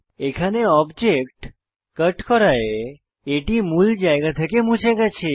এখানে object cut করায় এটি মূল জায়গা থেকে মুছে গেছে